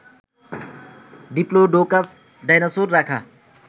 Diplodocus dinosaur রাখা